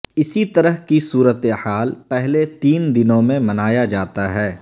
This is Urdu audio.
اسی طرح کی صورتحال پہلے تین دنوں میں منایا جاتا ہے